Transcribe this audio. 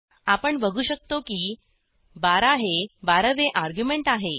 आपण बघू शकतो की 12 हे 12वे अर्ग्युमेंट आहे